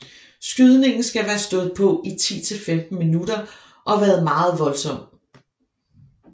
Skydningen skal være stået på i 10 til 15 minutter og været meget voldsom